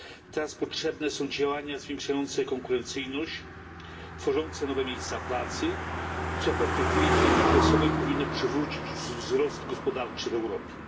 Teraz potrzebne są działania zwiększające konkurencyjność, tworzące nowe miejsca pracy, co w perspektywie średniookresowej powinno przywrócić wzrost gospodarczy w Europie.